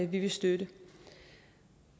vi vil støtte